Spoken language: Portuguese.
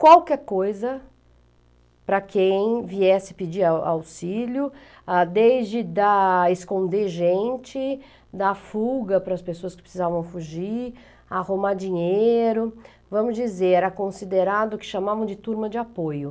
qualquer coisa para quem viesse pedir au auxílio, a desde dar... esconder gente, dar fuga para as pessoas que precisavam fugir, arrumar dinheiro, vamos dizer, era considerado o que chamavam de turma de apoio.